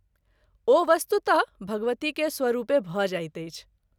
ओ वस्तुत: भगवती के स्वरूपे भ’ जाइत अछि “।